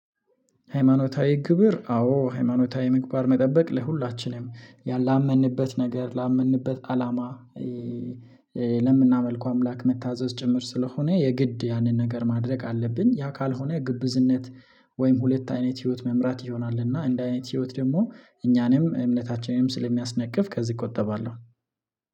ሃይማኖታዊ ክብር አዎ ሃይማኖታዊ ምግባር መጠበቅ ለሁላችንም ላመንበት ነገር ላመንበት አላማ ለምናመልከው አምላክ መታዘዝ ጭምር ስለሆነ የግድ ያንን ነገር ማድረግ አለብን። ያ ካልሆነ ግብዝነት ወይም ሁለት አይነት ህይወት መምራት ይሆናል። እና እንዲህ አይነት ህይወት ደግሞ እኛንም እምነታችንም ስለሚያስነቅፍ ከዚህ እቆጠባለሁ።